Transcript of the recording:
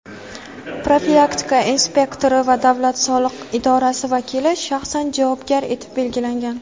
profilaktika inspektori va davlat soliq idorasi vakili shaxsan javobgar etib belgilangan.